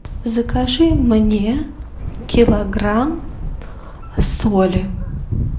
закажи мне килограмм соли